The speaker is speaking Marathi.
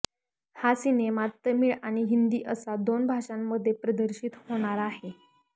हा सिनेमा तमिळ आणि हिंदी असा दोन भाषांमध्ये प्रदर्शित होणार आहे